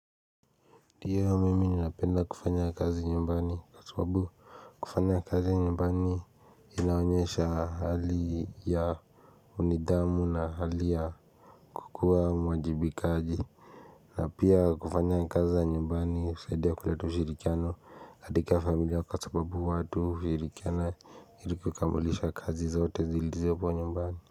Ndio mimi ninapenda kufanya kazi nyumbani kwa sababu kufanya kazi nyumbani Inaonyeshaa hali ya unidhamu na hali ya kukua mwajibikaji. Na pia kufanya kazi za nyumbani husaidia kuleta ushirikiano katika familia kwa sababu watu hushirikiana ili kuikamulisha kazi zote zilizopo nyumbani.